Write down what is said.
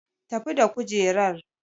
Tafi da kujerar!